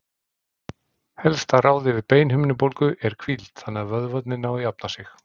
helsta ráðið við beinhimnubólgu er hvíld þannig að vöðvarnir nái að jafna sig